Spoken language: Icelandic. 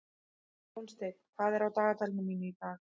Jónsteinn, hvað er á dagatalinu mínu í dag?